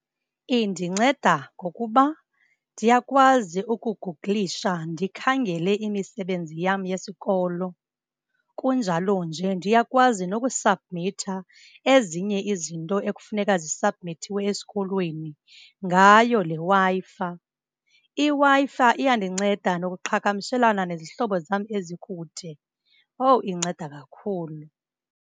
Indinceda ngokuba ndiyakwazi ukugugulisha ndikhangele imisebenzi yam yesikolo. Kunjalo nje ndiyakwazi nokusabhumitha ezinye izinto ekufuneka zisabhumithiwe esikolweni ngayo le Wi-Fi. IWi-Fi iyandinceda nokuqhagamshelana nezihlobo zam ezikude. Owu, indinceda kakhulu.